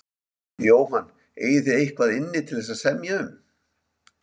Jóhann: Eigið þið eitthvað inni til þess að semja um?